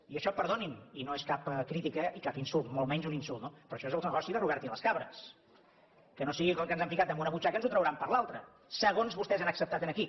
i això perdonin i no és cap crítica ni cap insult molt menys un insult però això és el negoci de robert i les cabres que no sigui que el que ens han ficat a una butxaca ens ho trauran per l’altra segons vostès han acceptat aquí